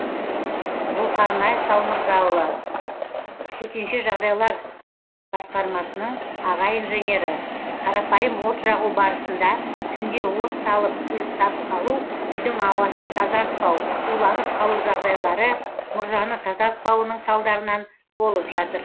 зұлхарнай салмырзаұлы төтенше жағдайлар басқармасының аға инженері қарапайым от жағу барысында түнде от салып ұйықтап қалу үйдің ауасын тазартпау уланып қалу жағдайлары мұржаны тазартпауының салдарынан болып жатыр